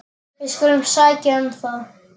Við skulum sækja um það.